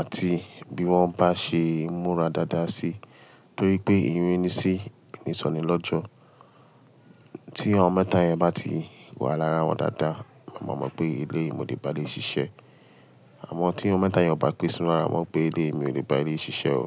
àti bí wọ́n bá ṣe ń múra dáadáa sí, torí pé irin ni sí, ni ìsoni lọ́jọ́. Tí àwọn mẹ́ta yẹn bá ti wà lára wọn dáadáa, màá mọ̀ pé eleyi mo lè bá eleyi ṣiṣẹ́. Àmọ́ tí àwọn mẹ́ta yẹn ò bá pe síwon lara ma mo pé eleyi mi ò lè bá eleyi ṣiṣẹ́ o.